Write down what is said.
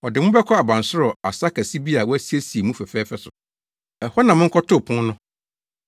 Ɔde mo bɛkɔ abansoro asa kɛse bi a wɔasiesie mu fɛfɛɛfɛ so. Ɛhɔ na monkɔto pon no.”